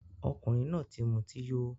Ọkunrin náà ti muti yó